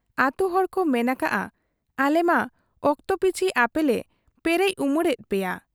ᱟᱹᱛᱩ ᱦᱚᱲ ᱠᱚ ᱢᱮᱱ ᱟᱠᱟᱜ ᱟ, ᱟᱞᱮᱢᱟ ᱚᱠᱛᱚ ᱯᱤᱪᱷᱤ ᱟᱯᱮᱞᱮ ᱯᱮᱨᱮᱡ ᱩᱢᱟᱹᱬᱮᱫ ᱯᱮᱭᱟ ᱾